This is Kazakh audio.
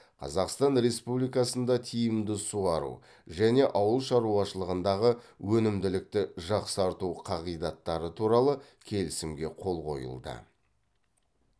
қазақстан республикасында тиімді суару және ауыл шаруашылығындағы өнімділікті жақсарту қағидаттары туралы келісімге қол қойылды